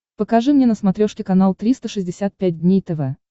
покажи мне на смотрешке канал триста шестьдесят пять дней тв